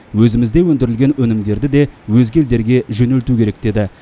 өзімізде өндірілген өнімдерді де өзге елдерге жөнелту керек деді